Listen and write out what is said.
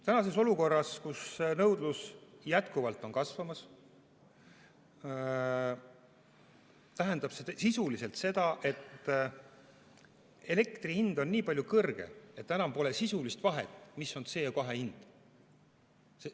Tänases olukorras, kus nõudlus jätkuvalt on kasvamas, tähendab see sisuliselt seda, et elektri hind on nii kõrge, et enam pole sisulist vahet, mis on CO2 hind.